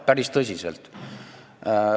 Päris tõsiselt!